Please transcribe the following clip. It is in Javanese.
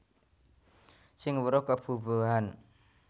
Sing weruh kebubuhan